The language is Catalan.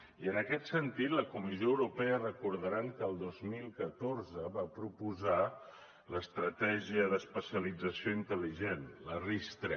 i en aquest sentit la comissió europea deuen recordar que el dos mil catorze va proposar l’estratègia d’especialització intel·ligent la ris3